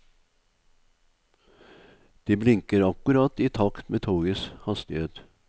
De blinker akkurat i takt med togets hastighet.